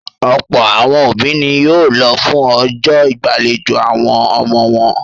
Ọ̀pọ̀ àwọn òbí ni yóò lọ fún ọjọ́ ìgbàlejò àwọn ọmọ wọn.